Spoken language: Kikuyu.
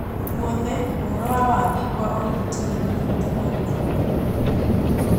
Gwothe, ũhoro wa waagi wa ũrigiti nĩ ũnyihĩte na gĩkĩro kĩnene